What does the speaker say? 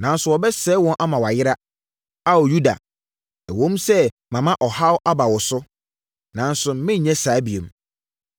nanso wɔbɛsɛe wɔn ama wɔayera. Ao Yuda, ɛwom sɛ mama ɔhaw aba wo so, nanso merenyɛ saa bio.